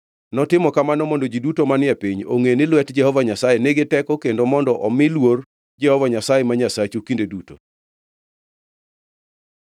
Notimo kamano mondo ji duto manie piny ongʼe ni lwet Jehova Nyasaye nigi teko kendo mondo omi uluor Jehova Nyasaye ma Nyasachu kinde duto.”